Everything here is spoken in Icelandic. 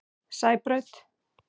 Sæbraut